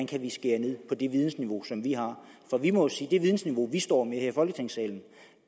kan skære ned på det vidensiveau som vi har vi må jo sige at det vidensniveau vi står med her i folketingssalen